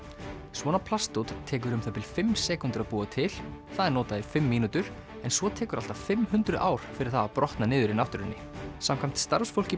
svona plastdót tekur um það bil fimm sekúndur að búa til það er notað í fimm mínútur en svo tekur allt að fimm hundruð ár fyrir það að brotna niður í náttúrunni samkvæmt starfsfólki